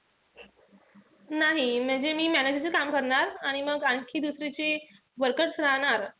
नाही, म्हणजे मी manager च काम करणार. आणि मग आणखी दुसरी जी workers राहणार,